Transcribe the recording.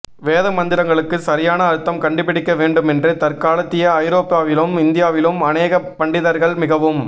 வேத மந்திரங்களுக்குச் சரியான அர்த்தம் கண்டி பிடிக்க வேண்டுமென்று தற்காலத்திய ஐரோப்பாவிலும் இந்தியாவிலும் அநேக பண்டிதர்கள் மிகவும்